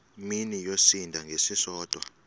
mini yosinda ngesisodwa